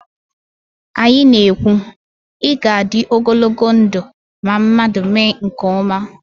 Anyị na- ekwu, 'ị ga-adị ogologo ndụ' ma mmadụ mee nke ọma